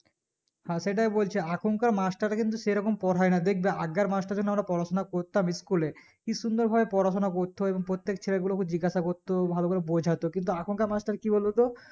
হ্যাঁ সেটাই বলছি আখন কার মাস্টার কিন্তু সেরকম পরহাইনা দেখবে আগেকার মাস্টার জন্য আমরা পড়াশোনা করতাম school এ কি সুন্দর ভাবে পড়াশোনা করতো এবং প্রত্যেক ছেলেপিলেকে জিজ্ঞাসা করতো ভালোকরে বোঝাতো কিন্তু এখন কার মানুষ কি বলতো